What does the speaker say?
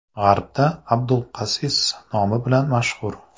G‘arbda Abulkassis nomi bilan mashhur.